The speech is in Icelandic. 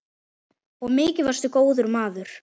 Og mikið varstu góður maður.